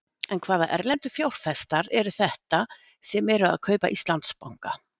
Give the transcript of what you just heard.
En hvaða erlendu fjárfestar eru þetta sem eru að kaupa Íslandsbanka?